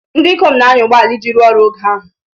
Ndị ikom na-anya ụgbọ ala iji rụọ ọrụ n'oge ahụ.